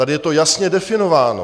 Tady je to jasně definováno.